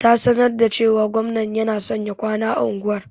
Ta sanar da cewa gwamnan yana son ya kwana a unguwar.